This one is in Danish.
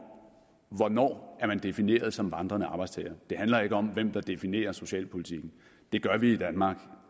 hvornår man er defineret som vandrende arbejdstager det handler ikke om hvem der definerer socialpolitikken det gør vi i danmark